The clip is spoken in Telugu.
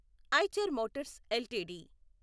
Eicher motors LTD